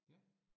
Ja